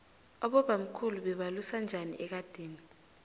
abobamkhulu bebalusa njani ekadeni